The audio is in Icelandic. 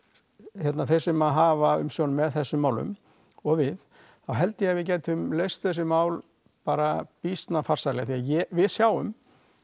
hérna þeir sem hafa umsjón með þessum málum og við þá held ég að við gætum leyst þessi mál bara býsna farsællega því við sjáum